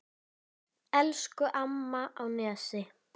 Elsku amma á Nesi.